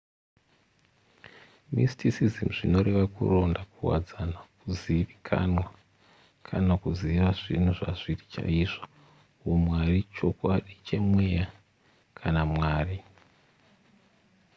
mysticism zvinoreva kuronda kuwadzana kuzivikanwa kana kuziva zvinhu zvazviri chaizvo humwari chokwadi chemweya kana mwari